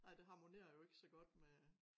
Nej det harmonerer jo ikke så godt med